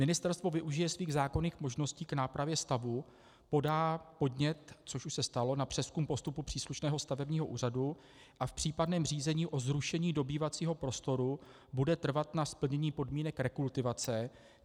Ministerstvo využije svých zákonných možností k nápravě stavu, podá podnět, což už se stalo, na přezkum postupu příslušného stavebního úřadu a v případném řízení o zrušení dobývacího prostoru bude trvat na splnění podmínek rekultivace.